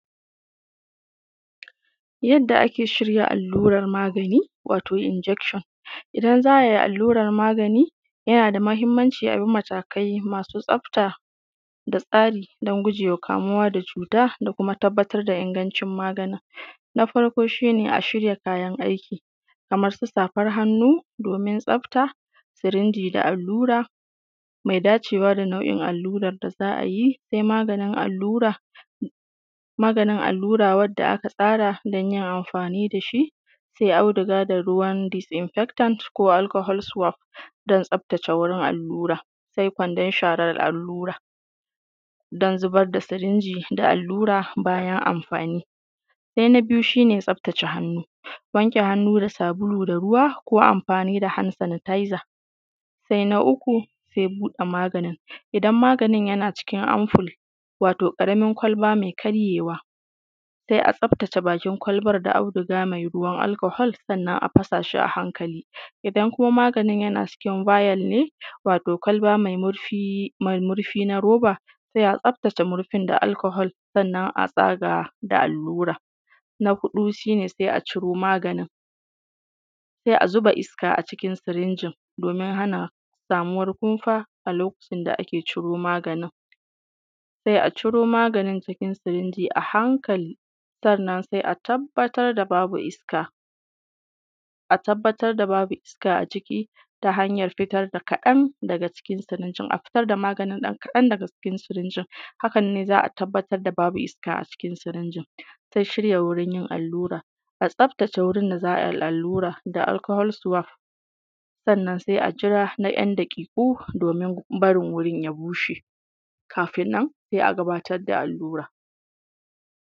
Yadda ake shirya allurar magani, wato ( Injekshin) Idan za ai alluran magani, yana da mahimmanci abi matakai masu tsafta, da tsarri don gujewa kamuwa da cuta da kuma tabbatar da ingancin maganin. Na farko shi ne a shirya kayan aiki, kamar su safan hannu domin tsafta, sirinji da allura mai dacewa da nau’in allurar da za’a yi, sai maganin allura, maganin allura wadda aka tsara don yin amfani dashi, sai auduga da ruwan dis’infektan ko alkahol suwaf, don tsaftace wurin allura, sai kwandon sharar allura, don zubar da sirinji da allura bayan amfani. Sai na biyu shi ne tsaftace hannu ,wanke hannu da sabulu da ruwa ko amfani da han sanataiza. Sai na uku sai buɗe maganin, idan maganin yana cikin amful wato ƙaramin kwalba mai karye wa, sai a tsaftace bakin kwalbar da auduga mai ruwan alkahol sannan a fasa shi a hankali, idan kuma maganin yana cikin bayal ne, wato kwalma mai murfi na roba, sai a tsafta ce murfin da alkahol, sannan a tsaga da allura. Na huɗu shi ne sai a ciro maganin, sai ya zuba iska a cikin sirinjin, domin hana samuwar kumfa a lokacin da ake ciro maganin, sai a ciro maganin cikin sirinja a hankali, sannan sai a tabbatar da babu iska, a tabbatar da babu iska a ciki ta hanyar fitar da kadan daga cikin sirinji, a fitar da maganin ɗan kadan daga cikin sirinjin, haka ne za a tabbatar da babu iska a ciki sirinjin. Sai shirya wurin yin allura. A tsaftace wurin da za ai allura, da alkahol suwaf sannan sai a jira na ‘yan daƙiƙu domin bari wurin ya bushe, kafin nan sai a gabatar da allura. s